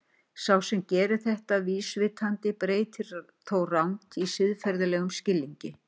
Sá sem gerir þetta vísvitandi breytir þó rangt í siðferðilegum skilningi.